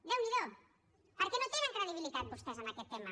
déu n’hi do perquè no tenen credibilitat vostès en aquest tema